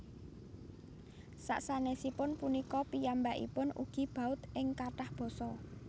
Sasanèsipun punika piyambakipun ugi baud ing kathah basa